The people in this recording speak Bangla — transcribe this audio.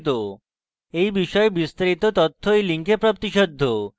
এই বিষয়ে বিস্তারিত তথ্য এই link প্রাপ্তিসাধ্য